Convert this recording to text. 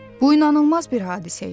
Bu inanılmaz bir hadisə idi.